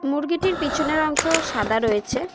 মুরগিটির পিছনের অংশ সাদা রয়েছে।